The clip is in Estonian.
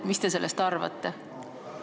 Mis te sellest arvate?